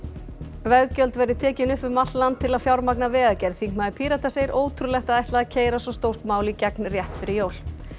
veggjöld verði tekin upp um allt land til að fjármagna vegagerð þingmaður Pírata segir ótrúlegt að ætla að keyra svo stórt mál í gegn rétt fyrir jól